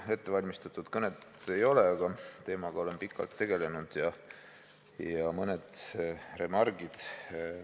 Mul ettevalmistatud kõnet ei ole, aga olen selle teemaga pikalt tegelenud ja mul on mõned remargid.